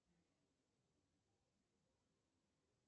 афина открой каналы тнт четыре